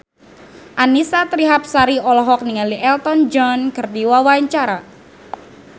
Annisa Trihapsari olohok ningali Elton John keur diwawancara